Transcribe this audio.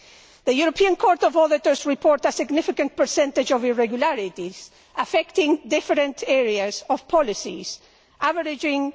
The European Court of Auditors reports a significant percentage of irregularities affecting different policy areas, averaging